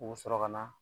U bɛ sɔrɔ ka na